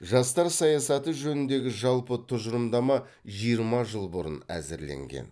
жастар саясаты жөніндегі жалпы тұжырымдама жиырма жыл бұрын әзірленген